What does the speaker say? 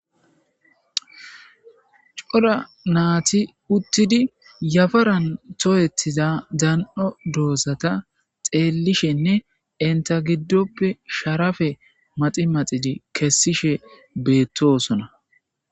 Coda naati uttidi yafaran tooyetiza dan'o doosata xeellishenne inta giddoppe sharafe maxi maxidi kessishe beettosona.